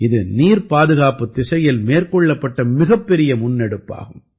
இது நீர்ப்பாதுகாப்புத் திசையில் மேற்கொள்ளப்பட்ட மிகப்பெரிய முன்னெடுப்பாகும்